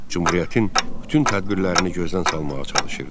Cümhuriyyətin bütün tədbirlərini gözdən salmağa çalışırdı.